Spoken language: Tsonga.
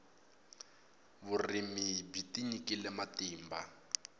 vurimi byi tinyikile matimba